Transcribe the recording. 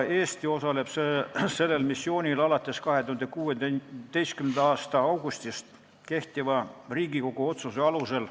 Eesti osaleb sellel missioonil alates 2016. aasta augustist kehtiva Riigikogu otsuse alusel.